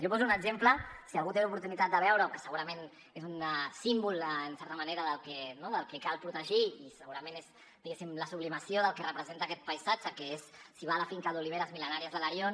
jo poso un exemple per si algú té l’oportunitat de veure ho que segurament és un símbol en certa manera del que cal protegir i segurament és diguéssim la sublimació del que representa aquest paisatge que és la finca d’oliveres mil·lenàries de l’arion